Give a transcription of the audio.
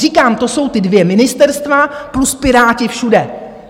Říkám, to jsou ta dvě ministerstva plus Piráti všude.